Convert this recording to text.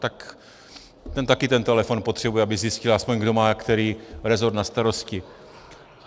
Tak ten taky ten telefon potřebuje, aby zjistil aspoň, kdo má který resort na starosti.